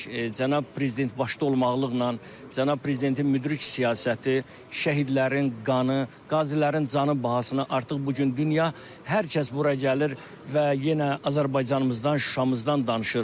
Cənab prezident başda olmaqla cənab prezidentin müdrik siyasəti, şəhidlərin qanı, qazilərin canı bahasına artıq bu gün dünya hər kəs bura gəlir və yenə Azərbaycanımızdan, Şuşamızdan danışır.